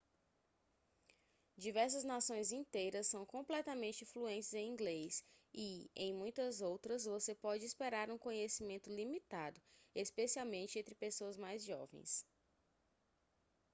diversas nações inteiras são completamente fluentes em inglês e em muitas outras você pode esperar um conhecimento limitado especialmente entre pessoas mais jovens